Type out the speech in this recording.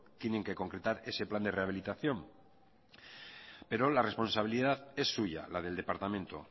tienen que concretar ese plan de rehabilitación pero la responsabilidad es suya la del departamento